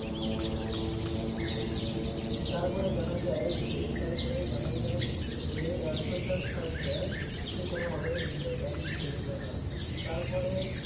তারপরে জানা যায় যে তারপরে জানা যায় যে রানচ্ছর দাস ছানছার সে কোনো ভাবেই নিজের Pant খুলছিলোনা তারপরে